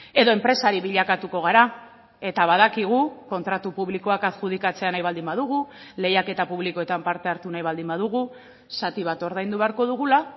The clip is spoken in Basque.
edo enpresari bilakatuko gara eta badakigu kontratu publikoak adjudikatzea nahi baldin badugu lehiaketa publikoetan parte hartu nahi baldin badugu zati bat ordaindu beharko dugula